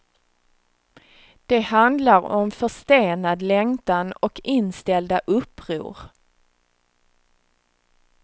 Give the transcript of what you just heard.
De handlar om förstenad längtan och inställda uppror.